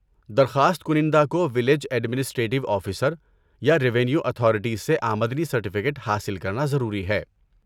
درخواست کنندہ کو ولیج ایڈمنسٹریٹو آفیسر یا ریوینیو اتھارٹیز سے آمدنی سرٹیفیکیٹ حاصل کرنا ضروری ہے۔